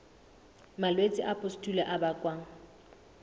malwetse a pustule a bakwang